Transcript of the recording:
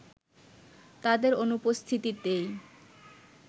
তাদের অনুপস্থিতিতেই